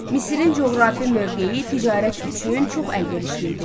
Misirin coğrafi mövqeyi ticarət üçün çox əlverişli idi.